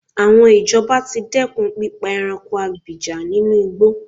Àwọn ìjọba ti dẹ́kùn pípa ẹranko abìjà ninú igbó.